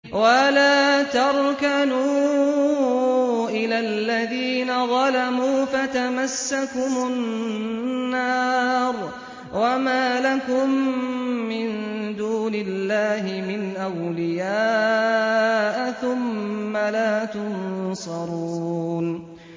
وَلَا تَرْكَنُوا إِلَى الَّذِينَ ظَلَمُوا فَتَمَسَّكُمُ النَّارُ وَمَا لَكُم مِّن دُونِ اللَّهِ مِنْ أَوْلِيَاءَ ثُمَّ لَا تُنصَرُونَ